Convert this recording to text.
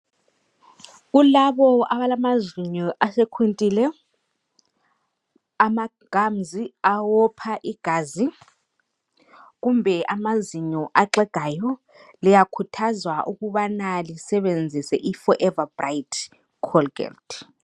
Kulabo abalamazinyo asekhuntile, amagums awopha igazi kumbe amazinyo axegayo liyakhuthazwa ukubana lisebenzise I Forever bright Colgate.